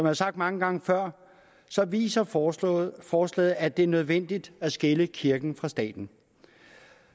har sagt mange gange før viser forslaget forslaget at det er nødvendigt at skille kirken fra staten